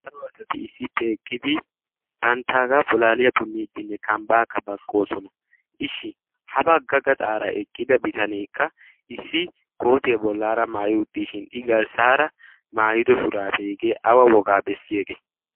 aaao asati issiippe eqqidi banttaagaa pholaaliyaa punniiddinne kambbaakka baqqoosona ishshi ha bagga ga xaaraa eqqida bitaneekka issi kootiyaa bollaara maayi uttiishin i garssaara maayido shuraabe hegee awa wogaa bessi egee